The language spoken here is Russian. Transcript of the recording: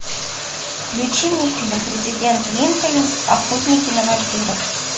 включи мне фильм президент линкольн охотник на вампиров